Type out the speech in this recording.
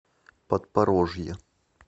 подпорожье